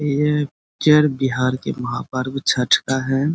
यह पिक्चर बिहार के महापर्व छठ का है।